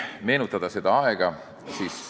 Meenutame veel seda aega.